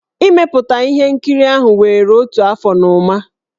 Ị mepụta ihe nkiri ahụ were otu afọ na ụma.